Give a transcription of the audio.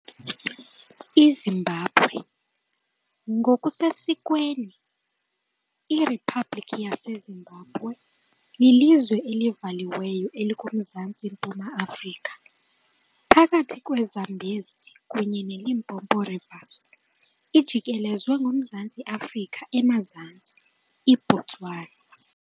IZimbabwe, ngokusesikweni iRiphabhlikhi yaseZimbabwe, lilizwe elivaliweyo elikuMzantsi-mpuma Afrika, phakathi kweZambezi kunye neLimpopo Rivers, ijikelezwe nguMzantsi Afrika emazantsi, iBotswana